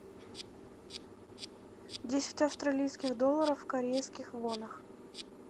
десять австралийских долларов в корейских вонах